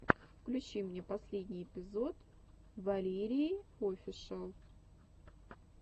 включи мне последний эпизод валерииофишиал